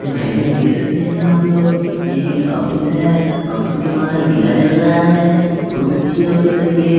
तो भाई लोग देख सकते हैं आप लोग ये एक ऑफिस है ऑफिस के बाहर दिया जल रहा है बहुत अच्छी ऑफिस है ये।